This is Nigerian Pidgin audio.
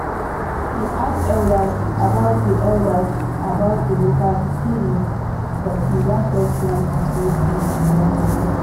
him ask elders about di elders about di local healing but him don first plan to go see doctor first.